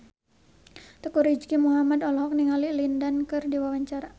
Teuku Rizky Muhammad olohok ningali Lin Dan keur diwawancara